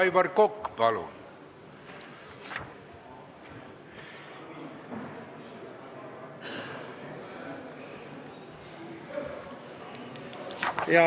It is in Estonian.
Aivar Kokk, palun!